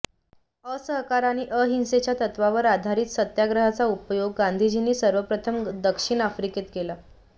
असहकार आणि अहिंसेच्या तत्त्वावर आधारित सत्याग्रहाचा उपयोग गांधीजींनी सर्वप्रथम दक्षिण आफ्रिकेत केला